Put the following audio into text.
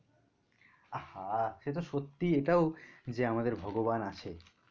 আহ হা সে তো সত্যি এটাও যে আমাদের ভগবান আছে।